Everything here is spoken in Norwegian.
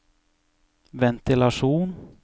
ventilasjon